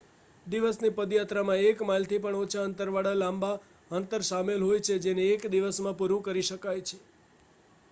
દિવસની પદયાત્રામાં એક માઇલથી પણ ઓછા અંતર વાળા લાંબા અંતર શામેલ હોય છે જેને એક દિવસમાં પુરું કરી શકાય છે